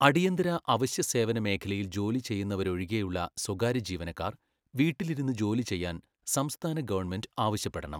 അടിയന്തര അവശ്യ സേവന മേഖലയിൽ ജോലി ചെയ്യുന്നവരൊഴികെയുള്ള സ്വകാര്യ ജീവനക്കാർ വീട്ടിലിരുന്ന് ജോലി ചെയ്യാൻ സംസ്ഥാന ഗവണ്മെൻറ്റ് ആവശ്യപ്പെടണം.